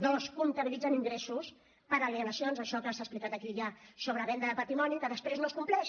dos comptabilitzen ingressos per alienacions això que s’ha explicat aquí ja sobre venda de patrimoni que després no es compleix